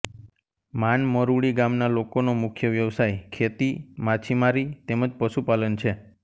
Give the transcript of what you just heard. માન મરૂડી ગામના લોકોનો મુખ્ય વ્યવસાય ખેતી માછીમારી તેમ જ પશુપાલન છે